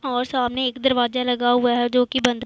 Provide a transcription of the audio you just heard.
और सामने एक दरवाजा लगा हुआ है जोकि बंद--